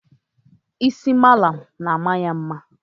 isi mala na-ama ya mma